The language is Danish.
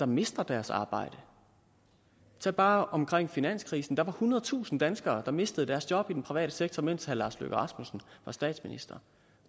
miste deres arbejde tag bare tiden omkring finanskrisen hvor der var ethundredetusind danskere der mistede deres job i den private sektor mens herre lars løkke rasmussen var statsminister